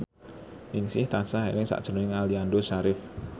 Ningsih tansah eling sakjroning Aliando Syarif